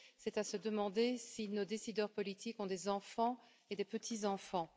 C'est à se demander si nos décideurs politiques ont des enfants et des petits enfants.